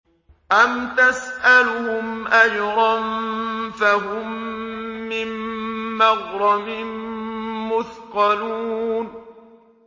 أَمْ تَسْأَلُهُمْ أَجْرًا فَهُم مِّن مَّغْرَمٍ مُّثْقَلُونَ